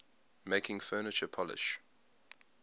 making furniture polish